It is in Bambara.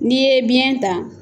N'i ye biyɛn ta.